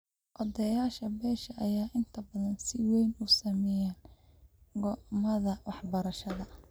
Odayaasha beesha ayaa inta badan si weyn u saameeya go'aamada waxbarashada.